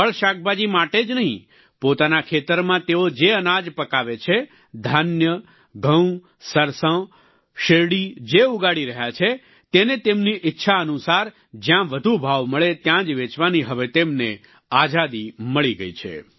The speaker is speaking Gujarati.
ફળશાકભાજી માટે જ નહીં પોતાના ખેતરમાં તેઓ જે અનાદ પકાવે છે ધાન્ય ઘઉં સરસોં શેરડી જે ઉગાડી રહ્યા છે તેને તેમની ઈચ્છા અનુસાર જ્યાં વધુ ભાવ મળે ત્યાં જ વેચવાની હવે તેમને આઝાદી મળી ગઈ છે